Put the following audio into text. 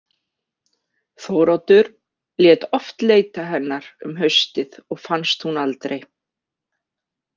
Þóroddur lét oft leita hennar um haustið og fannst hún aldrei.